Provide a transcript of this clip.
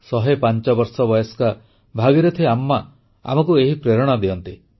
ଶହେପାଞ୍ଚ ବର୍ଷ ବୟସ୍କା ଭାଗୀରଥି ଆମ୍ମା ଆମକୁ ଏହି ପ୍ରେରଣା ଦିଅନ୍ତି